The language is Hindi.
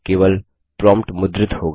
केवल प्रोम्प्ट मुद्रित होगा